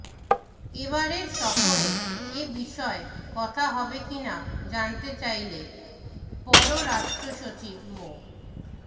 এবারের সফরে এ বিষয়ে কথা হবে কী না জানতে চাইলে পররাষ্ট্রসচিব মো